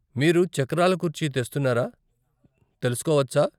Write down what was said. మీరు చక్రాల కుర్చీ తెస్తున్నారా తెలుసుకోవచ్చా?